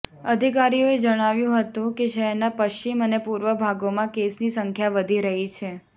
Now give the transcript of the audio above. અધિકારીઓએ જણાવ્યું હતું કે શહેરના પશ્ચિમ અને પૂર્વ ભાગોમાં કેસની સંખ્યા વધી રહી છે